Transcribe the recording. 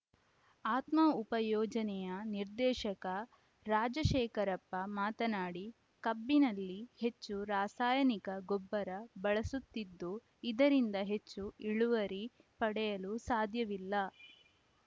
ಆತ್ಮ ಉಪ ಯೋಜನೆಯ ನಿರ್ದೇಶಕ ರಾಜಶೇಖರಪ್ಪ ಮಾತನಾಡಿ ಕಬ್ಬಿನಲ್ಲಿ ಹೆಚ್ಚು ರಾಸಾಯನಿಕ ಗೊಬ್ಬರ ಬಳಸುತ್ತಿದ್ದು ಇದರಿಂದ ಹೆಚ್ಚು ಇಳುವರಿ ಪಡೆಯಲು ಸಾಧ್ಯವಿಲ್ಲ